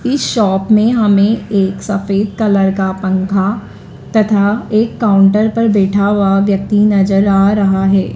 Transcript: इस शॉप में हमें एक सफेद कलर का पंखा तथा एक काउंटर पर बैठा हुआ व्यक्ति नजर आ रहा है।